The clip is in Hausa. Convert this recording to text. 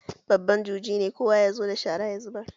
Babban juji ne, kowa ya zo da shara sai ya zubar.